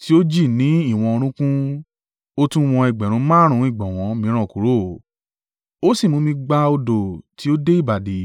tí ó jì ní ìwọ̀n orúnkún. Ó tún wọn ẹgbẹ̀rún márùn-ún ìgbọ̀nwọ́ mìíràn kúrò, ó sì mú mi gba odò tí ó dé ìbàdí.